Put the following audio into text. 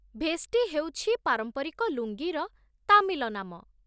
ଭେଷ୍ଟି ହେଉଛି ପାରମ୍ପରିକ ଲୁଙ୍ଗିର ତାମିଲ ନାମ